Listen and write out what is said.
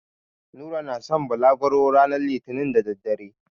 Nura na san balagro ranar litinin da daddare.